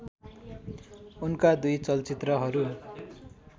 उनका दुई चलचित्रहरू